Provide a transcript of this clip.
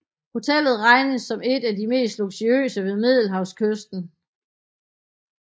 Hotellet regnes som et af de mest luksuriøse ved middelhavskysten